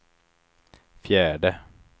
fjärde